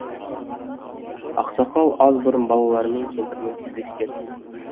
ақсақал аз бұрын балаларымен кемпірімен тілдескен